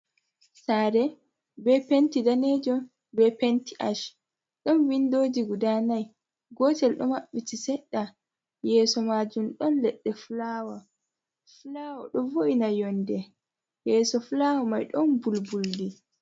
Saare be penti danejum be penti ash, ɗon windoji guda nai gotel ɗo maɓɓiti, seɗɗa yeeso majum ɗon leɗɗe fulawa fulawa ɗo vo’ina yonde yeso fulawa mai ɗon bulbuldi.